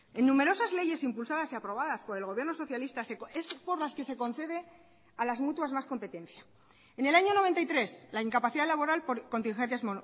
en numerosas leyes impulsadas y aprobadas por el gobierno socialista es por las que se concede a las mutuas más competencia en el año noventa y tres la incapacidad laboral por contingencias